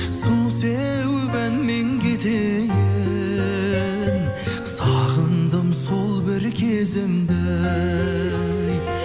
су сеуіп әнмен кетейін сағындым сол бір кезімді ей